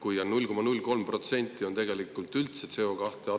Kui 0,03% on tegelikult CO2 üldse atmosfääris, siis kui …